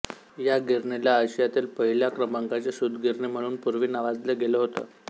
या गिरणीला आशियातील पहिल्या क्रमांकाची सूतगिरणी म्हणून पूर्वी नावाजलं गेलं होतं